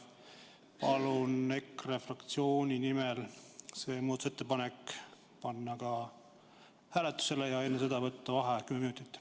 Palun EKRE fraktsiooni nimel panna see muudatusettepanek hääletusele ja enne seda võtta vaheaeg kümme minutit.